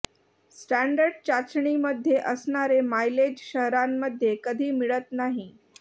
standard चाचणीमध्ये असणारे mileage शहरांमध्ये कधी मिळत नाही